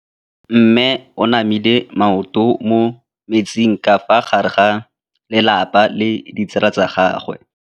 Mme o namile maoto mo mmetseng ka fa gare ga lelapa le ditsala tsa gagwe.